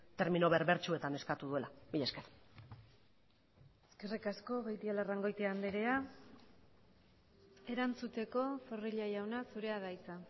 termino berbertsuetan eskatu duela mila esker eskerrik asko beitialarrangoitia andrea erantzuteko zorrilla jauna zurea da hitza